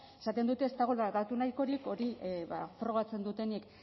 esaten dute ez dagoela datu nahikorik hori ba frogatzen dutenik